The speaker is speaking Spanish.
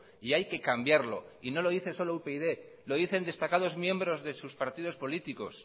y hay que cambiarlo y no lo dice solo upyd lo dicen destacados miembros de sus partidos políticos